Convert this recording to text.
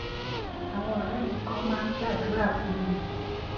àwọn òré mi kan máa ń gbàdúrà fún mi